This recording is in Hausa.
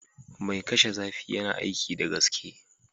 Mai kashe zafi yana aiki da gaske